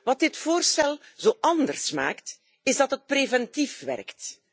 Wat dit voorstel zo anders maakt, is dat het preventief werkt.